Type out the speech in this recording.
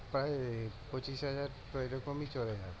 প্রায় পঁচিশ হাজার তো এরকমই চলে যাচ্ছে